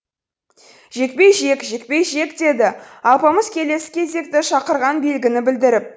жекпе жек жекпе жек деді алпамыс келесі кезекті шақырған белгіні білдіріп